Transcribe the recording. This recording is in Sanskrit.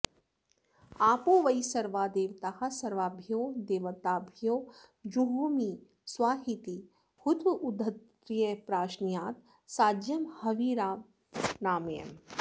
आपो वै सर्वा देवताः सर्वाभ्यो देवताभ्यो जुहोमि स्वाहेति हुत्वोद्धृत्य प्राश्नीयात् साज्यं हविरनामयम्